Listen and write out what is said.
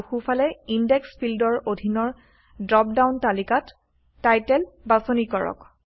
আৰু সোঁফালে ইনডেক্স ফিল্ডৰ অধীনৰ ড্ৰপডাউন তালিকাত টাইটেল বাছনি কৰক